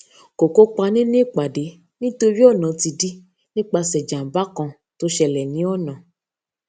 ko kopa ninu ipàde nítorí ọnà ti dí nípase jàǹbá kan to sele ni ona